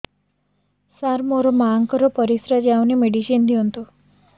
ସାର ମୋର ମାଆଙ୍କର ପରିସ୍ରା ଯାଉନି ମେଡିସିନ ଦିଅନ୍ତୁ